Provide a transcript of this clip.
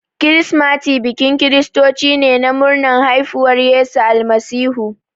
Kirsimati bikin kiristoci ne na murnar haifuwar Yesu Almasihu.